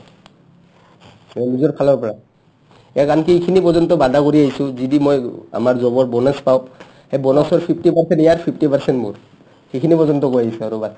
নিজৰ ফালৰ পৰা ইয়াক আন্কি ইখিনি পৰ্য্যন্ত baada কৰি আহিছো যদি মই আমাৰ job ৰ bonus পাও তে bonus ৰ fifty percent ইয়াৰ fifty percent মোৰ সিখিনি পৰ্য্যন্ত কৈ আহিছো আৰু